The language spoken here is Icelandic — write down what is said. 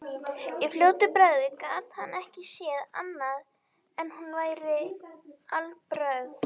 Í fljótu bragði gat hann ekki séð annað en hún væri alheilbrigð.